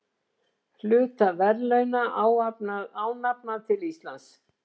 Hluta verðlauna ánafnað til Íslands